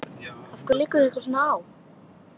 Af hverju liggur ykkur svona á?